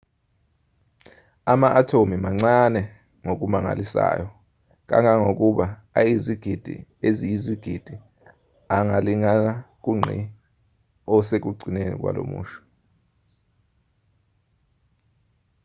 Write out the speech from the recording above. ama-athomu mancane ngokumangalisayo kangangokuba ayizigidi eziyizigidi angalingana kungqi osekugcineni kwalomusho